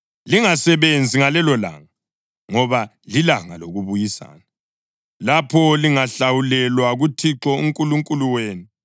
Lingasebenzi ngalelolanga, ngoba lilanga lokuBuyisana, lapho lihlawulelwa kuThixo uNkulunkulu wenu.